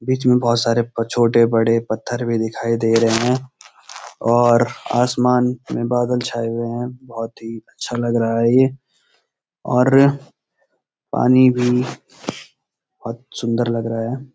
बीच में बहुत सारे ब छोटे-बड़े पत्‍थर भी दिखाई दे रहे हैं और आसमान में बादल छाये हुए हैं बहुत ही अच्‍छा लग रहा है ये और पानी भी बहुत सुन्‍दर लग रहा है।